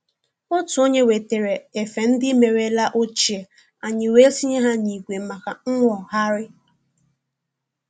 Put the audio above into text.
Otu onye wetara efe ndị merela ochie, anyị wee tinye ha n'igwe maka nwogharị